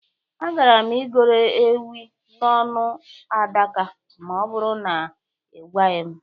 Agaara m igoro enwe n'ọnụ adaka ma ọ bụrụ na ị gwaghị m.